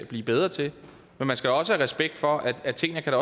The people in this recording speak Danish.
blive bedre til men man skal også have respekt for at tingene kan